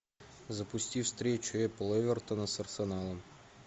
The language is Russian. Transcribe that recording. запусти встречу апл эвертона с арсеналом